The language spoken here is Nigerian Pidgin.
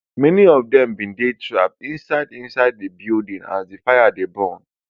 many of dem bin dey trap inside inside di building as di fire dey burn